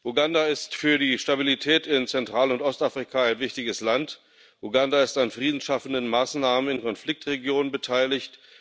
Uganda ist für die Stabilität in Zentral und Ostafrika ein wichtiges Land. Uganda ist an friedensschaffenden Maßnahmen in Konfliktregionen beteiligt.